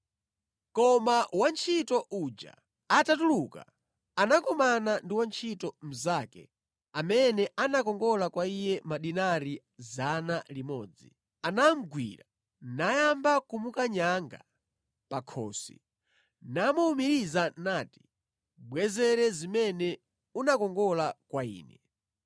“Koma wantchito uja atatuluka, anakumana ndi wantchito mnzake amene anakongola kwa iye madinari 100. Anamugwira, nayamba kumukanyanga pa khosi, namuwumiriza nati, ‘Bwezere zimene unakongola kwa ine!’